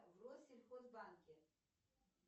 в россельхозбанке